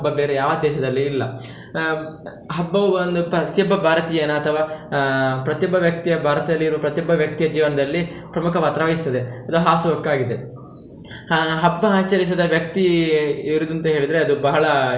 ಬೇರೆ ಯಾವ ದೇಶದಲ್ಲಿಯೂ ಇಲ್ಲ. ಆಹ್ ಹಬ್ಬವು ಒಂದು ಪ್ರತಿ ಒಬ್ಬ ಭಾರತೀಯನ ಅಥವಾ ಆಹ್ ಪ್ರತಿ ಒಬ್ಬ ವ್ಯಕ್ತಿಯ ಭಾರತದಲ್ಲಿ ಇರುವ ಪ್ರತಿ ಒಬ್ಬ ವ್ಯಕ್ತಿಯ ಜೀವನದಲ್ಲಿ, ಪ್ರಮುಖ ಪಾತ್ರ ವಹಿಸ್ತದೆ ಅದು ಹಾಸುಹೊಕ್ಕಾಗಿದೆ. ಹಾ ಹಬ್ಬ ಆಚರಿಸದ ವ್ಯಕ್ತಿ ಇರುದ್ರಂತ ಹೇಳಿದ್ರೆ ಅದು ಬಹಳ.